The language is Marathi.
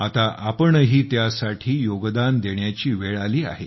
आता आपणही त्यासाठी योगदान देण्याची वेळ आली आहे